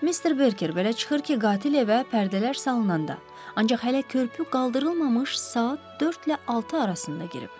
Mister Berker, belə çıxır ki, qatil evə pərdələr salınanda, ancaq hələ körpü qaldırılmamış saat 4-lə 6 arasında girib.